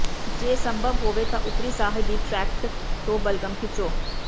ਜੇ ਸੰਭਵ ਹੋਵੇ ਤਾਂ ਉਪਰੀ ਸਾਹ ਦੀ ਟ੍ਰੈਕਟ ਤੋਂ ਬਲਗ਼ਮ ਖਿੱਚੋ